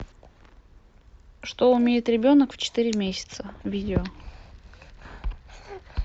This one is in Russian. что умеет ребенок в четыре месяца видео